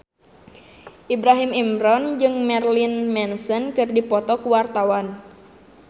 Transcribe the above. Ibrahim Imran jeung Marilyn Manson keur dipoto ku wartawan